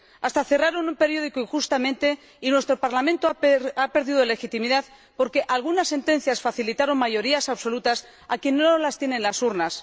Hasta cerraron un periódico injustamente, y nuestro Parlamento ha perdido legitimidad porque algunas sentencias facilitaron mayorías absolutas a quienes no las tienen en las urnas.